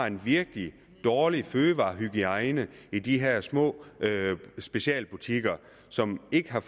en virkelig dårlig fødevarehygiejne i de her små specialbutikker som ikke har